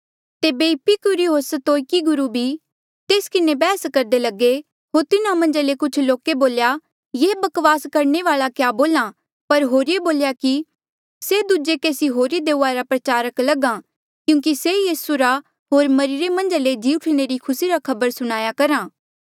तेबे इपिकुरी होर स्तोईकी गुरु भी तेस किन्हें बैहस करदे लगे होर तिन्हा मन्झा ले कुछ लोके बोल्या ये बकवास करणे वाल्आ क्या बोल्हा पर होरिये बोल्या कि से दूजे केसी होरी देऊआ रा प्रचारक लग्हा क्यूंकि से यीसू रा होर मरिरे मन्झा ले जी उठणे रा खुसी री खबर सुणाया करहा था